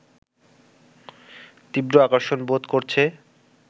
তীব্র আকর্ষণ বোধ করছে